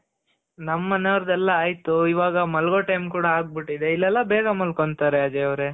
ನಮ್ ಮನೆಯವರದು ಎಲ್ಲಾ ಆಯ್ತು ಇವಾಗ ಮಲಗೋ time ಕೂಡ ಆಗಿ ಬಿಟ್ಟಿದೆ. ಇಲ್ಲೆಲ್ಲಾ ಬೇಗ ಮಲ್ಕೊಂತಾರೆ ಅಜಯ್ ಅವ್ರೆ .